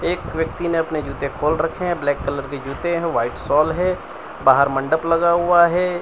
एक व्यक्ति ने अपने जूते खोल रखे हैं ब्लैक कलर के जूते हैं व्हाइट शॉल है बाहर मण्डप लगा हुआ है।